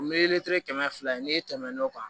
O mɛlitiri kɛmɛ fila ye n'e tɛmɛn'o kan